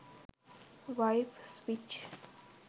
wife switch